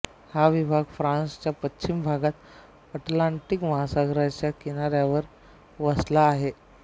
हा विभाग फ्रान्सच्या पश्चिम भागात अटलांटिक महासागराच्या किनाऱ्यावर वसला आहे